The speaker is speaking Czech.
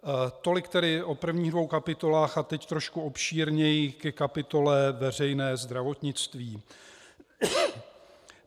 Tolik tedy o prvních dvou kapitolách a teď trošku obšírněji ke kapitole Veřejné zdravotnictví.